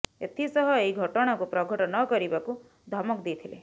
ଏଥିସହ ଏହି ଘଟଣାକୁ ପ୍ରଘଟ ନ କରିବାକୁ ଧମକ ଦେଇଥିଲେ